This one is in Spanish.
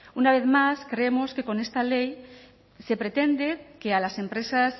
una vez más creemos que con esta ley se pretende que a las empresas